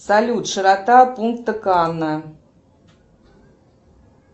салют широта пункта канна